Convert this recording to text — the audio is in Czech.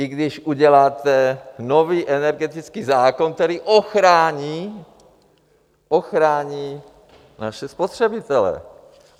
I když uděláte nový energetický zákon, který ochrání, ochrání naše spotřebitele.